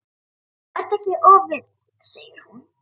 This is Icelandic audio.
Vertu ekki of viss, segir hún.